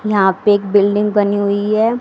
यहां पे एक बिल्डिंग बनी हुई है।